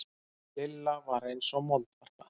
Lilla var eins og moldvarpa.